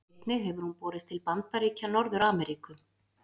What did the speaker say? Einnig hefur hún borist til Bandaríkja Norður-Ameríku.